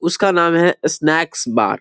उसका नाम है स्नाकेस बार ।